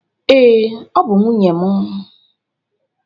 Ee, ọ bụ nwunye m.